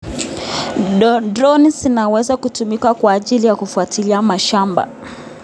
Droni zinaweza kutumika kwa ajili ya kufuatilia mashamba.